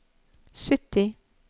sytti